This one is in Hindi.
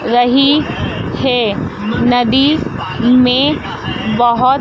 रही है नदी में बहोत--